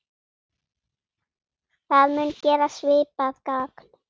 Það mun gera svipað gagn.